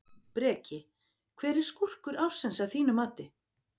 Breki: Hver er skúrkur ársins að þínu mati?